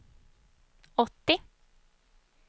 åttio